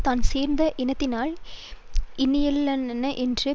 தான் சேர்ந்த இனத்தினால் இனியனல்லன் என்று